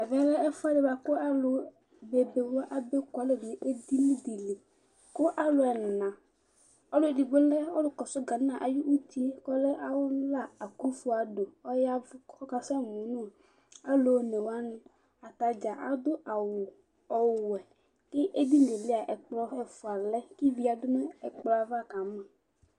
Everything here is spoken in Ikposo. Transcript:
ɛmɛ lɛ ɛfʊɛdɩ bua kʊ alʊ bebe nɩ abe ku alɛ nʊ edini dɩ, alɛ alʊ ɛna, ɔlʊ edigbo lɛ ghana ti yɛ ɔla, ɔlʊkɛ, ADDO AKUFO, ɔy'ɛvʊ kʊ ɔkasɛ mʊ nʊ alʊ onewanɩ, atadza adʊ awu ɔwɛ, ɛkplɔ ɛfua lɛ nʊ edini yɛ kʊ kʊ ivi yǝdʊ nʊ ɛkplɔ yɛ ava kama